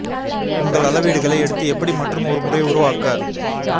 உங்கள் அளவீடுகளை எடுத்து எப்படி மற்றும் ஒரு முறை உருவாக்க